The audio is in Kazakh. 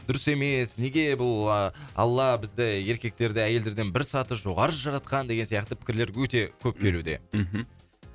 дұрыс емес неге бұл алла бізді еркектерді әйелдерден бір саты жоғары жаратқан деген сияқты пікірлер өте көп келуде мхм